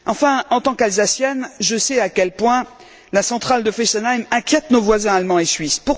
Enfin en tant qu'Alsacienne, je sais à quel point la centrale de Fessenheim inquiète nos voisins allemands et suisses.